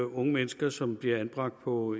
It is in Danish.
unge mennesker som bliver anbragt på